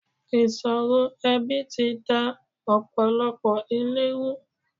Ìṣòro ẹbi ti da ọ̀pọ̀lọpọ̀ ilé ru.